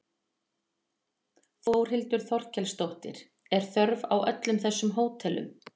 Þórhildur Þorkelsdóttir: Er þörf á öllum þessum hótelum?